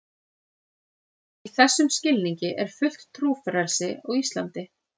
Í þessum skilningi er fullt trúfrelsi á Íslandi.